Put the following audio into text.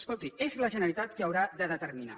escolti és la generalitat qui ho haurà de determinar